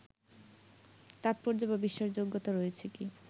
তাৎপর্য বা বিশ্বাসযোগ্যতা রয়েছে কি